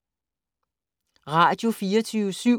Radio24syv